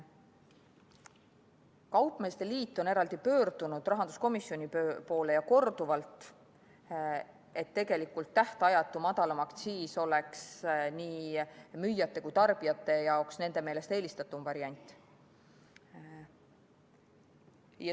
Kaupmeeste liit on pöördunud korduvalt rahanduskomisjoni poole, et tähtajatu madalam aktsiis oleks nii müüjate kui ka tarbijate jaoks nende meelest eelistatum variant.